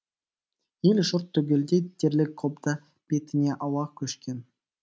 ел жұрт түгелдей дерлік қобда бетіне ауа көшкен